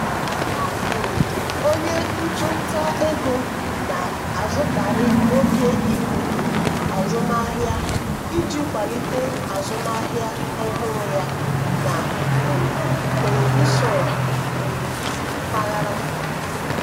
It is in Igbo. um onye ọchụnta ego na-azụkarị oge ikuku azụmahịa iji kwalite azụmahịa ọhụrụ ya na um telivishọn um mpaghara